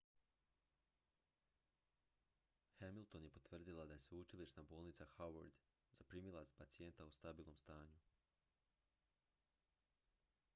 hamilton je potvrdila da je sveučilišna bolnica howard zaprimila pacijenta u stabilnom stanju